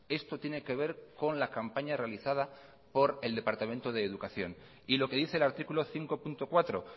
esto tiene que ver con la campaña realizada por el departamento de educación y lo que dice el artículo cinco punto cuatro